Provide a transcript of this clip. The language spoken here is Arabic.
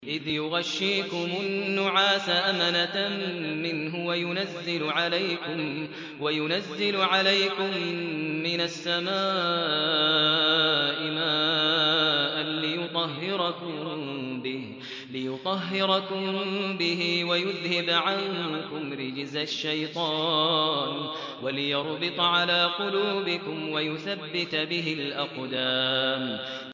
إِذْ يُغَشِّيكُمُ النُّعَاسَ أَمَنَةً مِّنْهُ وَيُنَزِّلُ عَلَيْكُم مِّنَ السَّمَاءِ مَاءً لِّيُطَهِّرَكُم بِهِ وَيُذْهِبَ عَنكُمْ رِجْزَ الشَّيْطَانِ وَلِيَرْبِطَ عَلَىٰ قُلُوبِكُمْ وَيُثَبِّتَ بِهِ الْأَقْدَامَ